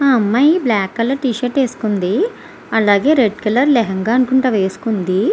ఆ అమ్మాయి black colour T shirt వేసుకుంది. అలాగే రెడ్ కలర్ లేహేన్గా అనుకుంట వేసుకుంది.